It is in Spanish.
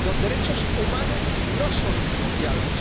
Los derechos humanos no son negociables.